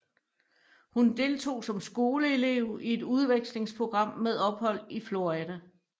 Hun deltog som skoleelev i et udvekslingsprogram med ophold i Florida